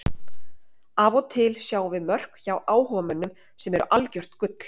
Af og til sjáum við mörk hjá áhugamönnum sem eru algjört gull.